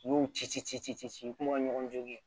N'i y'u ci ci ci ci ci ci ci ci ci u kuma ka ɲɔgɔn jɔ